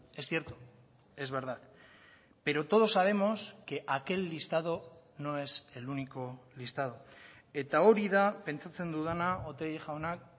es cierto es verdad pero todos sabemos que aquel listado no es el único listado eta hori da pentsatzen dudana otegi jaunak